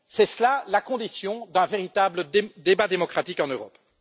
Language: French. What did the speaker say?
C'est la condition d'un véritable débat démocratique en Europe.